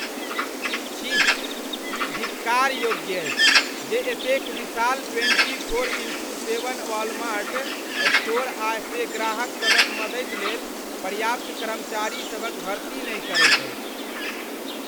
छिः, ई धिक्कार योग्य अछि जे एतेक विशाल twenty four into seven Walmart store आ से ग्राहक सभक मदति लेल पर्याप्त कर्मचारीसभक भर्ती नहि करैत अछि।